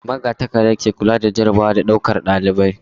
Magatakarda ke kula da jarrabawa da ɗaukar ɗalibai.